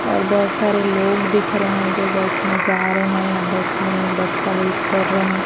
और बहुत सारे लोग दिख रहे हैं जो बस में जा रहे हैं या बस में बस का वेट कर रहे हैं।